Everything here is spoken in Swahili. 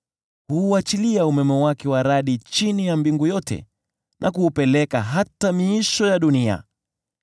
Huuachilia umeme wake wa radi chini ya mbingu yote na kuupeleka hata miisho ya dunia.